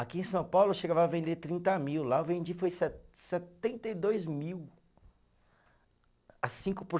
Aqui em São Paulo eu chegava a vender trinta mil, lá eu vendi foi se setenta e dois mil a cinco por